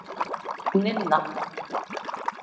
Ninna